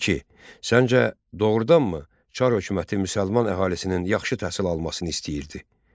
İki: Səncə, doğurdanmı Çar hökuməti müsəlman əhalisinin yaxşı təhsil almasını istəyirdi?